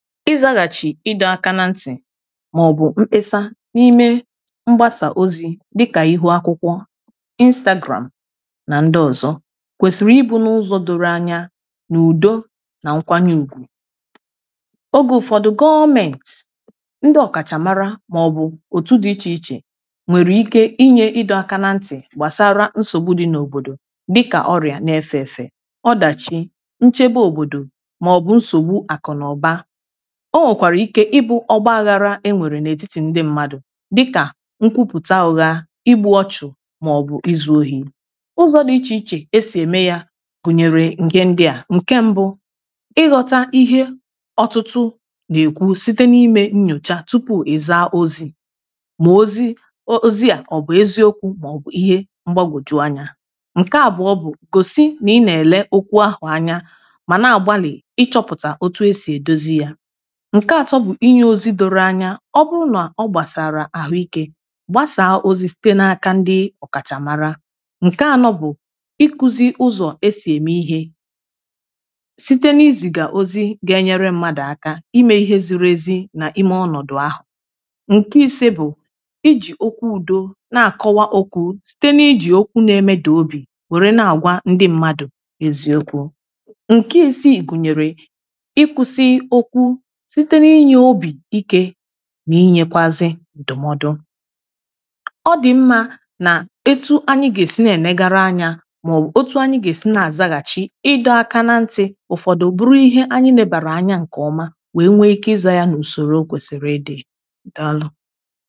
ịzaghachi ịdọ aka na ntì maọbụ mkpesa n’ime mgbasa ozi dịka ihu akwụkwọ instagram na ndị ọzọ kwesiri ịbụ n’ụzọ doro anya na udo na nkwanye ùgwù oge ụfọdụ gọọmenti ndị ọkachamara maọbụ otu dị iche iche nwere ike inye ịdọ aka na ntì gbasara nsogbu dị n’obodo dịka ọrịa na-efe efe ọdachi nchebe obodo maọbụ nsogbu akụ na ọba o nwèkwàrà ike ịbụ ọgbȧghȧrȧ e nwèrè n’ètitì ndị mmadụ̀ dịkà nkwupùta òghȧ ịbụ̇ ọchụ̇ màọ̀bụ̀ izù ohi̇ ụzọ̇ dị ichè ichè e sì ème yȧ gụ̀nyèrè ǹke ndị à ǹke mbụ ịghọ̇ta ihe ọtụtụ nà-èkwu site n’imė nnyòcha tupu̇ ị̀za ozi̇ mà ozi o ozi à ọ̀ bụ̀ eziokwu̇ màọ̀bụ̀ ihe mgbagwòju anyȧ ǹke àbụọ bụ̀ kòsì nà ị nà-èle okwu ahụ̀ anya mà na-àgbalị̀ ịchọ̇pụ̀tà otu e sì èdozi yȧ ǹke atọ bụ̀ inye ozi doro anya ọ bụrụ nà ọ gbàsàrà àhụikė gbasàà ozi site n’aka ndị ọ̀kàchàmàrà ǹke anọ bụ̀ ikuzi ụzọ̀ e sì ème ihe site n’izìgà ozi gà-ènyere mmadụ̀ aka imė ihe ziri ezi nà ime ọnọ̀dụ̀ ahụ̀ ǹke ise bụ̀ ijì okwu dȯȯ na-àkọwa oku̇ site n’iji oku na-emedà obì wère na-àgwa ndị mmadụ̀ èzù okwu̇ ǹke esiì gùnyèrè ịkwụ̇sị okwu̇ nà inyekwazị ǹdụmọdụ ọ dị̀ mmȧ nà etu anyị gà-èsi nà enegara anya màọbụ̀ otu anyị gà-èsi nà-àzaghàchị ịdọ aka nà ntị̇ ụfọ̀dụ bụrụ ihe anyị nà-ebàrà anya ǹkè ọma wèe nwee ike ịzȧ yȧ nà usòrò o kwèsìrì ịdị̇ dalụ